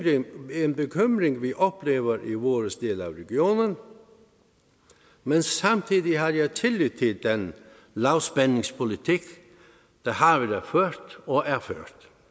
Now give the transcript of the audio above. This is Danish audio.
er en bekymring vi oplever i vores del af regionen men samtidig har jeg tillid til den lavspændingspolitik der har været ført og er ført